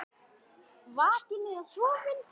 Vakinn eða sofinn.